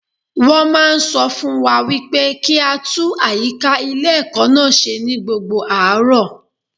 Wọ́n máa sọ fún wa wípé kí á tún àyíká ilé ẹ̀kọ́ náà ṣe ní gbogbo àárọ̀.